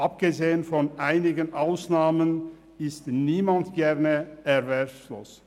Abgesehen von einigen Ausnahmen ist niemand gerne erwerbslos.